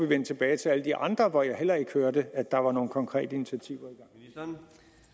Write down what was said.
vende tilbage til alle de andre hvor jeg heller ikke hørte at der var nogen konkrete initiativer i gang